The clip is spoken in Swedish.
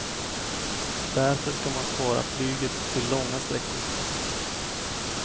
Därför ska man spara flyget till långa sträckor.